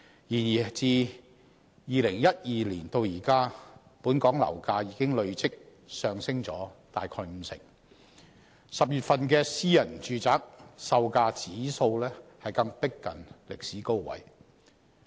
然而，自2012年至今，本港樓價已經累積上升約五成 ，10 月份私人住宅售價指數更逼近歷史高位。